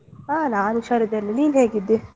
ಹಾ ನಾನ್ ಹುಷಾರಿದ್ದೇನೆ, ನೀನ್ ಹೇಗಿದ್ದೀ?